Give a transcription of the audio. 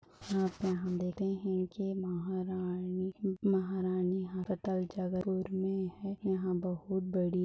यहाँ पे हम देखते है की महारानी महारानी अस्पताल जगदलपुर मे है यहाँ बहुत बड़ी--